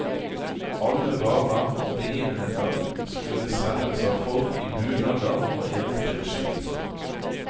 Alle varer og begivenheter skulle selges av folk i bunader og eventyrskikkelser.